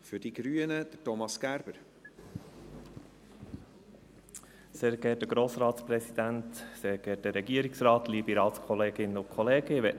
Ich möchte Ihnen die Haltung der grünen Fraktion zu diesen Planungserklärungen bekannt geben.